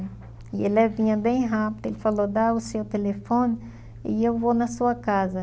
E ele vinha bem rápido, ele falou, dá o seu telefone e eu vou na sua casa.